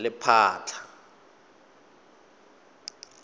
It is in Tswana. lephatla